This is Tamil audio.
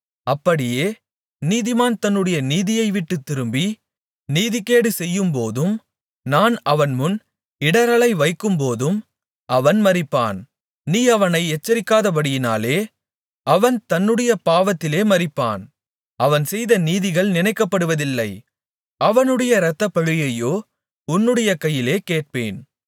அப்படியே நீதிமான் தன்னுடைய நீதியை விட்டுத் திரும்பி நீதிகேடு செய்யும்போதும் நான் அவன்முன் இடறலை வைக்கும்போதும் அவன் மரிப்பான் நீ அவனை எச்சரிக்காதபடியினாலே அவன் தன்னுடைய பாவத்திலே மரிப்பான் அவன் செய்த நீதிகள் நினைக்கப்படுவதில்லை அவனுடைய இரத்தப்பழியையோ உன்னுடைய கையிலே கேட்பேன்